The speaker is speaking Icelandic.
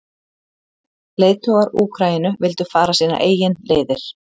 Leiðtogar Úkraínu vildu fara sínar eigin leiðir.